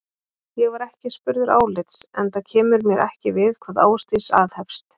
Ég var ekki spurður álits, enda kemur mér ekki við hvað Ásdís aðhefst.